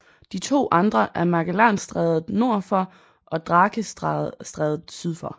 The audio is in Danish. De to andre er Magellanstrædet nord for og Drakestrædet syd for